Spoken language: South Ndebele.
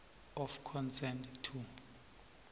of consent to